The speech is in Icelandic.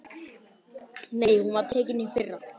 Nei, hún var tekin í fyrra.